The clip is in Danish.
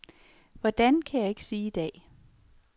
Hvordan kan jeg ikke sige i dag.